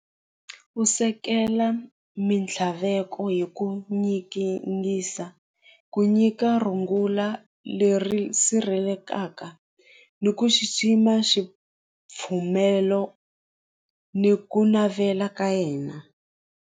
Ku sekela mintlhaveko hi ku ku nyika rungula leri sirhelekaka ni ku xixima ni ku navela ka yena.